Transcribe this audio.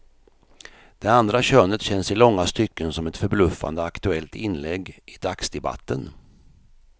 Det andra könet känns i långa stycken som ett förbluffande aktuellt inlägg i dagsdebatten.